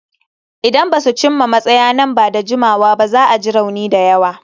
Idan ba su cimma matsaya nan ba da jimawa ba, za a ji rauni da yawa.